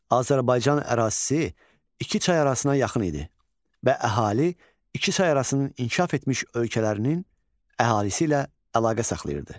Azərbaycan ərazisi iki çay arasına yaxın idi və əhali iki çay arasının inkişaf etmiş ölkələrinin əhalisi ilə əlaqə saxlayırdı.